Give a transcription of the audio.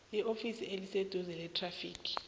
eofisini eliseduze lethrafigi